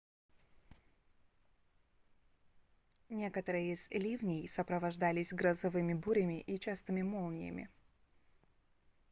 некоторые из ливней сопровождались грозовыми бурями и частыми молниями